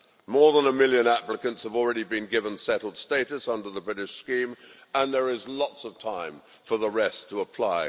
More than a million applicants have already been given settled status under the British scheme and there is lots of time for the rest to apply.